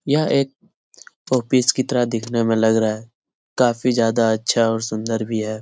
यह एक शोपीस की तरह देखने में लग रहा है । काफी ज्यादा अच्छा और सुन्दर भी है ।